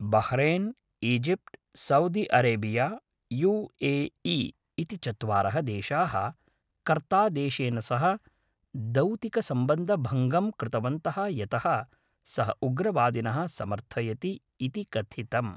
Bahrain, Egypt, Saudi Arabia, U A E इति चत्वारः देशाः कतार्देशेन सह दौतिकसम्बन्धभङ्गं कृतवन्तः यतः सः उग्रवादिनः समर्थयति इति कथितम्।